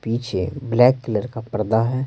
पीछे black colour का पर्दा है।